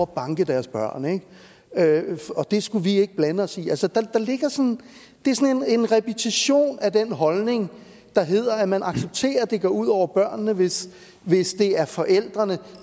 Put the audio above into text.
banke deres børn og at det skulle vi ikke blande os i det er sådan en repetition af den holdning der hedder at man accepterer at det går ud over børnene hvis hvis det er forældrene